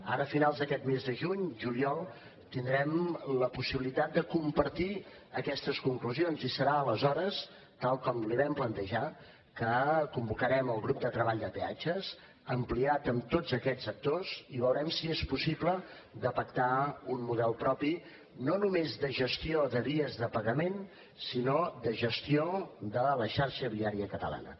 ara a finals d’aquest mes de juny juliol tindrem la possibilitat de compartir aquestes conclusions i serà aleshores tal com li vam plantejar que convocarem el grup de treball de peatges ampliat amb tots aquests actors i veurem si és possible de pactar un model propi no només de gestió de vies de pagament sinó de gestió de la xarxa viària catalana